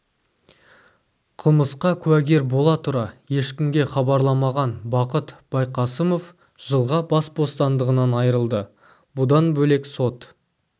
қылмысқа куәгер бола тұра ешкімге хабарламаған бақыт байқасымов жылға бас бостандығынан айырылды бұдан бөлек сот